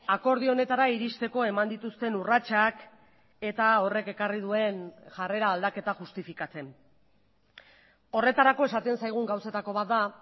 akordio honetara iristeko eman dituzten urratsak eta horrek ekarri duen jarrera aldaketa justifikatzen horretarako esaten zaigun gauzetako bat da